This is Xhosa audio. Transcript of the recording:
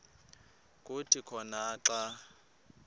kuthi khona xa